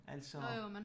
Altså